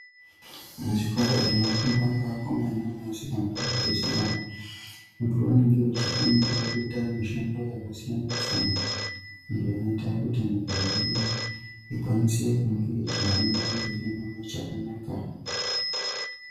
Muzvikora zvinofundwa ngevakomana nevasikana vabva zera, vanthu vanenge vachifundira kuita mishando yakasiyana-siyana, zvinoita kuti nyika yedu ikwanise kunge ichihambira mberi mune zvakanaka.